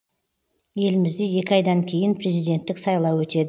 елімізде екі айдан кейін президенттік сайлау өтеді